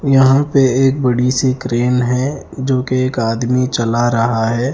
यहाँ पे एक बड़ी-सी क्रैन है जो कि एक आदमी चला रहा है।